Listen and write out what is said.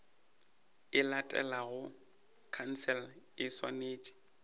e latelago khansele e swanetše